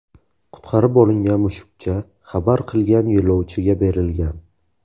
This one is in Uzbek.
Qutqarib olingan mushukcha xabar qilgan yo‘lovchiga berilgan.